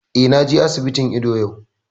Eh, na je asibitin ido yau